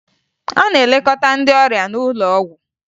A na-elekọta ndị ọrịa n'ụlọ ọgwụ